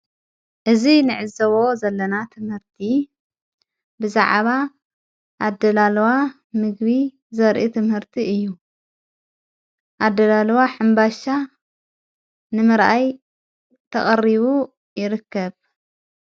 እዝ ንዕዘቦ ዘለና ትምህርቲ ብዛዓባ ኣደላለዋ ምግቢ ዘርኢ ትምህርቲ እዩ ኣደላለዋ ሓምባሻ ንመረኣይ ተቐሪቡ ይርከብ።